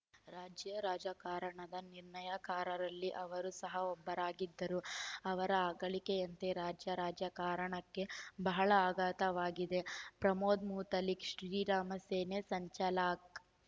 ರಾಜ್ಯ ರಾಜಕಾರಣದ ನಿರ್ಣಾಯಕಾರರಲ್ಲಿ ಅವರ ಸಹ ಒಬ್ಬರಾಗಿದ್ದರು ಅವರ ಅಗಲಿಕೆಯಂತೆ ರಾಜ್ಯ ರಾಜಕಾರಣಕ್ಕೆ ಬಹಳ ಆಘಾತವಾಗಿದೆ ಪ್ರಮೋದ್‌ ಮುತಾಲಿಕ್‌ ಶ್ರೀರಾಮ ಸೇನೆ ಸಂಚಲಕ್